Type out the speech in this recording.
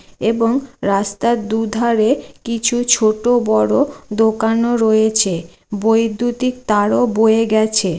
এবং রাস্তার দুধরে কিছু ছোট বড় দোকানও রয়েছে। বৈদ্যুতিক তারও বয়ে গেছে।